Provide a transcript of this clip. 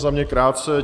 Za mě krátce.